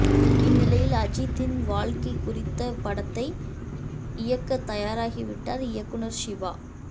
இந்நிலையில் அஜித்தின் வாழ்க்கை குறித்த படத்தை இயக்க தயாராகிவிட்டார் இயக்குநர் சிவா